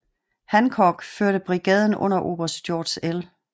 Hancock førte brigaden under oberst George L